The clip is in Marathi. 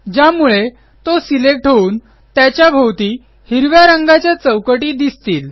ज्यामुळे तो सिलेक्ट होऊन त्याच्या भोवती हिरव्या रंगाच्या चौकटी दिसतील